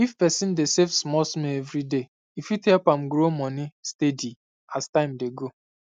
if person dey save small small every day e fit help am grow money steady as time dey go